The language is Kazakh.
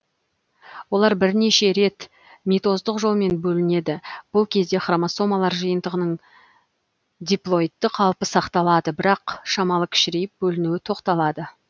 олар бірнеше рет митоздық жолмен бөлінеді бүл кезде хромосомалар жиынтығының диплоидты қалпы сақталады бірақ шамалы кішірейіп бөлінуі тоқталады